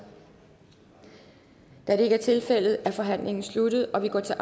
da det ikke er tilfældet er forhandlingen sluttet og vi går til